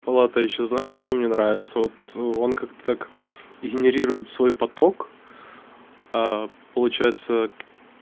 палата ещё знаешь что мне нравится вот он как-то так генерирует свой поток а получается